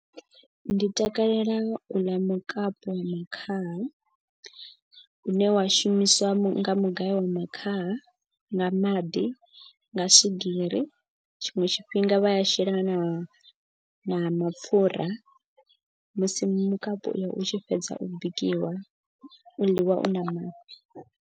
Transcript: Ndi takalela u ḽa mukapu wa makhaha u ne wa shumiswa nga mugayo wa makhaha. Nga maḓi nga swigiri tshiṅwe tshifhinga vha ya shela na mapfura musi mukapu u yo u tshi fhedza u bikiwa u ḽiwa u na mafhi.